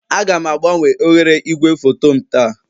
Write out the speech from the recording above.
Aga m agbanwe oghere igwefoto m taa